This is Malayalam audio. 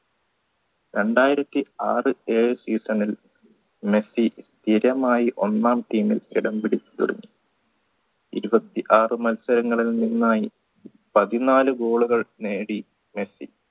രണ്ടായിരത്തി ആർ ഏഴ് season ൽ മെസ്സി സ്ഥിരമായി ഒന്നാം team ൽ ഇടം പിടിച്ചു തുടങ്ങി ഇരുപത്തി ആർ മത്സരങ്ങളിൽ നിന്നായി പതിനാല് goal കൾ നേടി മെസ്സി